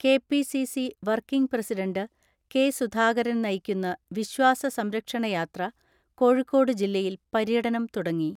K P C C working president K Sudhakaran നയിക്കുന്ന വിശ്വാസ സംരക്ഷണ യാത്ര കോഴിക്കോട് ജില്ലയിൽ പര്യടനം തുടങ്ങി.